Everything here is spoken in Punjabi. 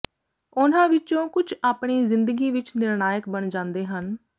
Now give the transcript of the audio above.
ਉਨ੍ਹਾਂ ਵਿਚੋਂ ਕੁਝ ਆਪਣੀ ਜ਼ਿੰਦਗੀ ਵਿਚ ਨਿਰਣਾਇਕ ਬਣ ਜਾਂਦੇ ਹਨ